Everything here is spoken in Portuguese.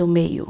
Do meio.